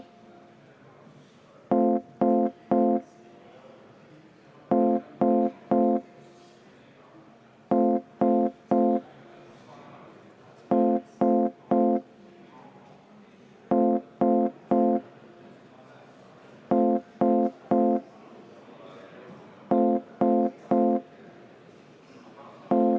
Rohkem kõneleda soovijaid ei ole.